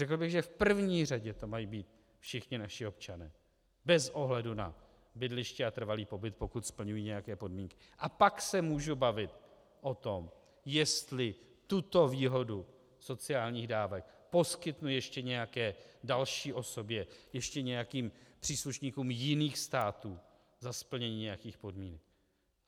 Řekl bych, že v první řadě to mají být všichni naši občané bez ohledu na bydliště a trvalý pobyt, pokud splňují nějaké podmínky, a pak se můžu bavit o tom, jestli tuto výhodu sociálních dávek poskytnu ještě nějaké další osobě, ještě nějakým příslušníkům jiných států za splnění nějakých podmínek.